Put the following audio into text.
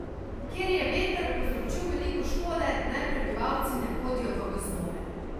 Kjer je veter povzročil veliko škode, naj prebivalci ne hodijo v gozdove.